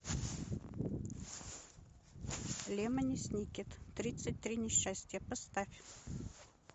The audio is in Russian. лемони сникет тридцать три несчастья поставь